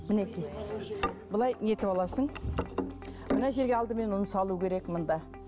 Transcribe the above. мінекей былай не етіп аласың мына жерге алдымен ұн салу керек мында